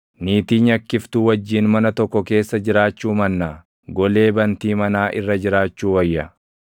Niitii nyakkiftuu wajjin mana tokko keessa jiraachuu mannaa, golee bantii manaa irra jiraachuu wayya.